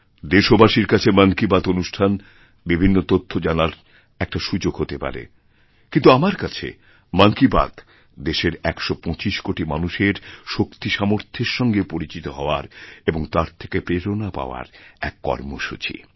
দেশবাসীর কাছে মন কি বাত অনুষ্ঠান বিভিন্ন তথ্য জানার একটা সুযোগ হতে পারেকিন্তু আমার কাছে মন কি বাত দেশের একশো পঁচিশ কোটি মানুষের শক্তিসামর্থের সঙ্গেপরিচিত হওয়ার এবং তার থেকে প্রেরণা পাওয়ার এক কর্মসূচি